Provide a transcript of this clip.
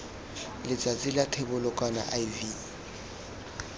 letsatsing la thebolo kana iv